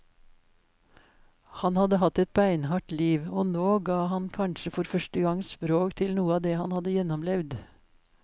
Han hadde hatt et beinhardt liv, og nå ga han kanskje for første gang språk til noe av det han hadde gjennomlevd.